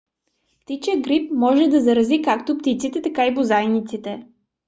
птичият грип може да зарази както птиците така и бозайниците